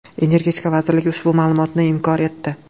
Energetika vazirligi ushbu ma’lumotni inkor etdi.